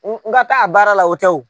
N n ka taa a baara la o tɛ o.